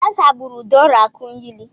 Kansa gburu Dora Akunyili.